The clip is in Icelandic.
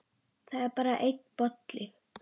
Það er bara einn bolli!